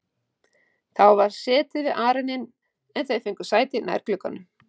Það var setið við arininn en þau fengu sæti nær glugganum.